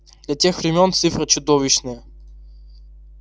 для тех времён цифра чудовищная